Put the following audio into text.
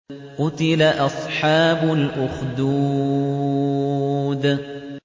قُتِلَ أَصْحَابُ الْأُخْدُودِ